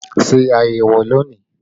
Ṣé ayẹwo lónìí!